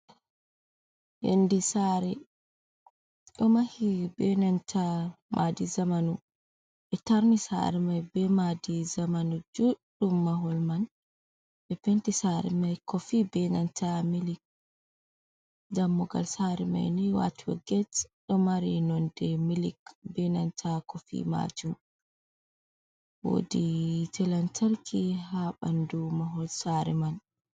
Yonde sare, domahi be nanta madi zamanu. Ɓe tarni sare mai be madi zamanu juɗɗum mahol man. Ɓe penti sare mai kofi be nanta milik. Dammugal sare mai ni wato get ɗo mari nonde milik, ɓe nanta kofi majum. Wodi yite lantarki ha banɗu mahol sare man.